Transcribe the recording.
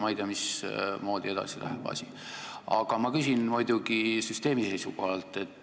Ma ei tea, mismoodi asi edasi läheb, ja ma küsin muidugi süsteemi seisukohalt.